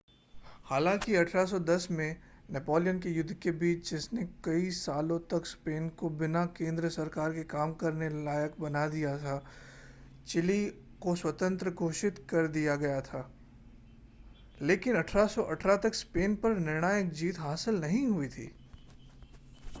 हालाँकि 1810 में नेपोलियन के युद्ध के बीच जिसने कई सालों तक स्पेन को बिना केंद्र सरकार के काम करने लायक बना दिया था चिली को स्वतंत्र घोषित कर दिया गया था लेकिन 1818 तक स्पेन पर निर्णायक जीत हासिल नहीं हुई थी